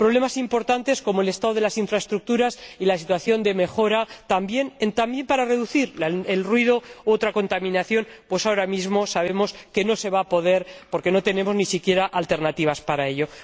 Problemas importantes como el estado de las infraestructuras y la situación de mejora, también para reducir el ruido u otra contaminación ahora mismo sabemos que no se va a poder, porque no tenemos ni siquiera alternativas para ello.